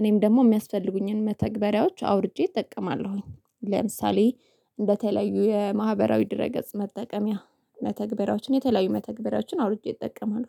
እኔም ደግሞ የሚያስፈልጉኝን መተግበሪያዎች አውርጀ እጠቀማለሁኝ። ለምሳሌ እንደተለዩ የማህበራዊ ድረ ገጽ መጠቀሚያ መተግበሪያዎችን የተለያዩ መተግበሪያዎችን አውርጄ እጠቀማለው